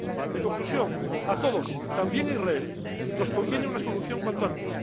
En conclusión, a todos, también a Israel, nos conviene una solución cuanto antes.